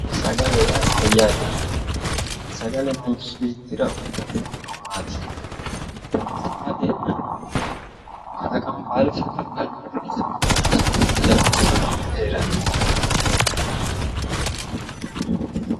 Sagale yaa mayate, sagale manchi beettira uyittano horo maati, sagale kalaqamu baalu saga'lanonso manchi beetti callu sagale heeranote.